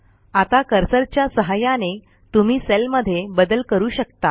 आता कर्सरच्या सहाय्याने तुम्ही सेलमध्ये बदल करू शकता